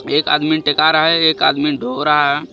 एक आदमी टेका रहा है एक आदमी ढो रहा है.